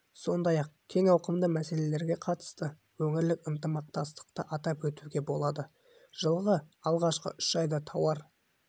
сондай-ақ кең ауқымды мәселелерге қатысты өңірлік ынтымақтастықты атап өтуге болады жылғы алғашқы үш айда тауар